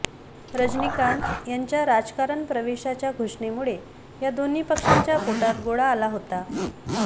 रजनीकांत यांच्या राजकारण प्रवेशाच्या घोषणेमुळे या दोन्ही पक्षांच्या पोटात गोळा आला होता